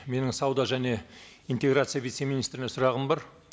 менің сауда және интеграция вице министріне сұрағым бар